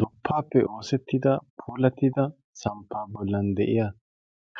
duppaappe oosettida puulattida samppaa bollan de'iya